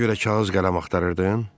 Buna görə kağız-qələm axtarırdın?